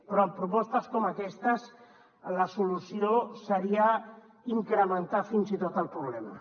però amb propostes com aquestes la solució seria incrementar fins i tot el problema